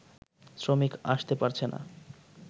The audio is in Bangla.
শ্রমিক আসতে পারছেনা